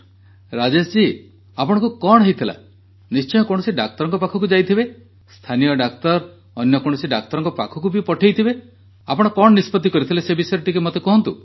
ରାଜେଶ ଜୀ ଆପଣଙ୍କୁ କଣ ହୋଇଥିଲା ନିଶ୍ଚୟ କୌଣସି ଡାକ୍ତରଙ୍କ ପାଖକୁ ଯାଇଥିବେ ସ୍ଥାନୀୟ ଡାକ୍ତର ଅନ୍ୟ କୌଣସି ଡାକ୍ତରଙ୍କ ପାଖକୁ ପଠେଇଥିବେ ଆପଣ କଣ ନିଷ୍ପତ୍ତି କରିଥିଲେ ସେ ବିଷୟରେ ମୋତେ ଟିକିଏ କୁହନ୍ତୁ